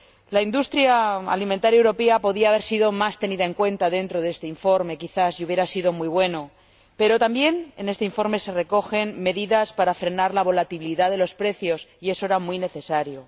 La industria alimentaria europea podía haber sido quizá más tenida en cuenta dentro de este informe, y hubiera sido muy bueno, pero también en este informe se recogen medidas para frenar la volatilidad de los precios y eso era muy necesario.